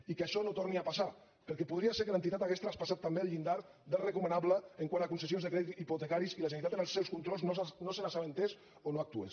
i que això no torni a passar perquè podria ser que l’entitat hagués traspassat també el llindar del recomanable quant a la concessió de crèdits hipotecaris i la generalitat en els seus controls no se n’assabentés o no hi actués